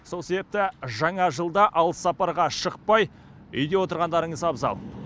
сол себепті жаңа жылда алыс сапарға шықпай үйде отырғандарыңыз абзал